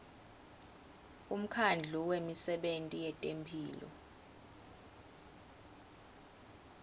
umkhandlu wemisebenti yetemphilo